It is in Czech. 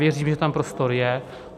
Věřím, že tam prostor je.